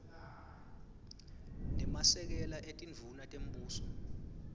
nemasekela etindvuna tembuso